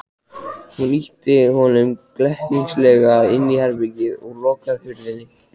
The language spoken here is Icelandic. Hún ýtti honum glettnislega inn í herbergið og lokaði hurðinni.